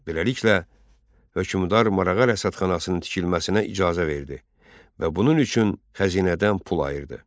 Beləliklə, hökmdar marağa rəsədxanasının tikilməsinə icazə verdi və bunun üçün xəzinədən pul ayırdı.